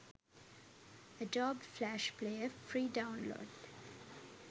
adobe flash player free download